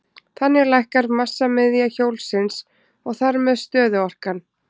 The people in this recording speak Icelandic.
Þannig lækkar massamiðja hjólsins og þar með stöðuorkan.